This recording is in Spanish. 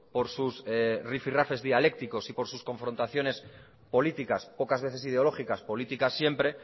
por sus rifi rafes dialécticos y por sus confrontaciones políticas pocas veces ideológicas políticas siempre